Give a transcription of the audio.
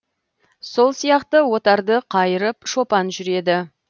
сол сияқты отарды қайырып шопан жүреді